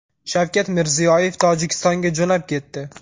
Shavkat Mirziyoyev Tojikistonga jo‘nab ketdi.